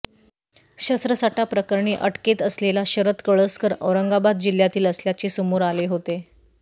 शस्त्रसाठाप्रकरणी अटकेत असलेला शरद कळसकर औरंगाबाद जिल्ह्यातील असल्याचे समोर आले होते